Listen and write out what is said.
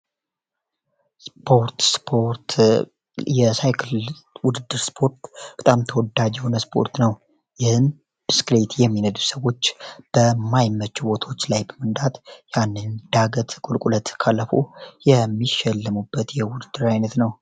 ስፖርት ስፖርት የሳይክል ውድድር ስፖርት በጣም ተወዳጅ የሆነ ስፖርት ነው። ይህም ብስክሌት የሚነዱ ሰዎች በማይመች መንገድ ላይ መንዳት የአንድን ዳገት ፣ቁልቁለት ካለፉ የሚሸለሙበት የውድድር አይነት ነው።